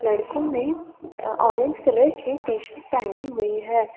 लड़कों ने orange colour की टीशर्ट पहनी हुई है।